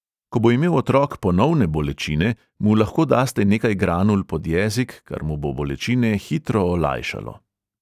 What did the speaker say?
Ko bo imel otrok ponovne bolečine, mu lahko daste nekaj granul pod jezik, kar mu bo bolečine hitro olajšalo.